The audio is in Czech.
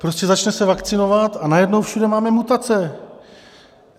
Prostě začne se vakcinovat, a najednou všude máme mutace.